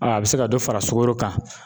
a bɛ se ka dɔ fara sukoro kan